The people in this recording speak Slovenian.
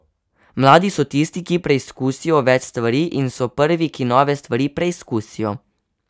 Mladi so tisti, ki preizkusijo več stvari in so prvi, ki nove stvari preizkusijo.